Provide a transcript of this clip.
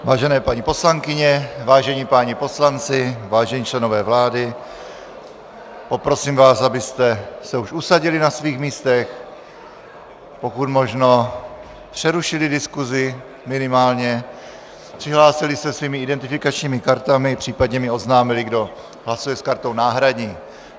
Vážené paní poslankyně, vážení páni poslanci vážení členové vlády, poprosím vás, abyste se už usadili na svých místech, pokud možno přerušili diskusi minimálně, přihlásili se svými identifikačními kartami, případně mi oznámili, kdo hlasuje s kartou náhradní.